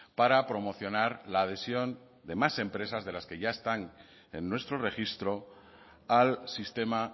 para promocionar la adhesión de más empresas de las que ya están en nuestro registro al sistema